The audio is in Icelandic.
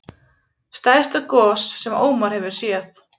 Stærsta gos sem Ómar hefur séð